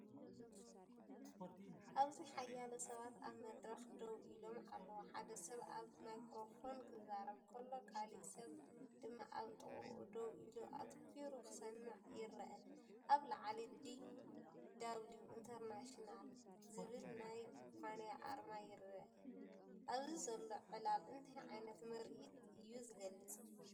ኣብዚ ሓያሎ ሰባት ኣብ መድረኽ ደው ኢሎም ኣለዉ። ሓደ ሰብ ኣብ ማይክሮፎን ክዛረብ ከሎ፡ካልእ ሰብ ድማ ኣብ ጥቓኡ ደው ኢሉ ኣተኲሩ ክሰምዕ ይረአ። ኣብ ላዕሊ"ዲ ደብሊው ኢንተርናሽናል”ዝብልናይ ኩባንያ ኣርማ ይርአ። ኣብዚ ዘሎ ዕላል እንታይ ዓይነት ምርኢት እዩ ዝገልጽ?